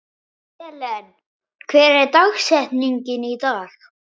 Helen, hver er dagsetningin í dag?